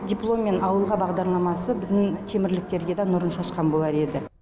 дипломмен ауылға бағдарламасы біздің темірліктерге дә нұрын шашқан болар еді